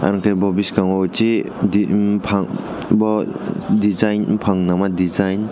angke bo biskango si di bopang bo design bopang nangma design .